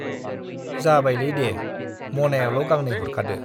जाबायलै दे , मनायाल' गांनै हरखादो।